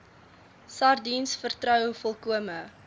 sardiens vertrou volkome